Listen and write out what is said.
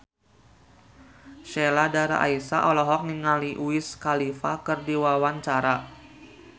Sheila Dara Aisha olohok ningali Wiz Khalifa keur diwawancara